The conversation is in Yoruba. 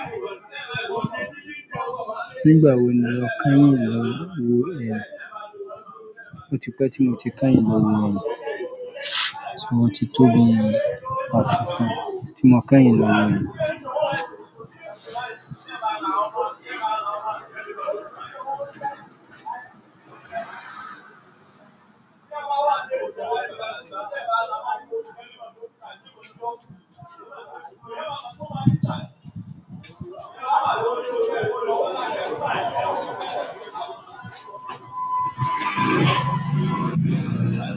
Nígbà wo ni o kányìn lọ wo ẹ̀rù? Ó ti pẹ́ tí mo ti kányìn lọ wo ẹ̀rù. So o tí tóbi, asìkó. Tí mo kányìn lọ wo ẹ̀rù.